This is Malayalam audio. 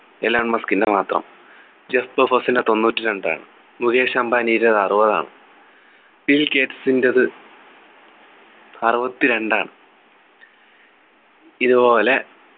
എലൻ മസ്കിൻ്റെ മാത്രം ജെഫ്‌കോ ഫസിൻ്റെ തൊണ്ണൂറ്റിരണ്ടാണ് മുകേഷ് അംബാനിയുടെ അറുപതാണ് ബിൽഗേറ്റ്സ്ൻ്റെ ത് അറുപത്തിരണ്ടാണ് ഇതുപോലെ